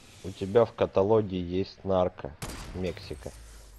у тебя в каталоге есть нарко мексика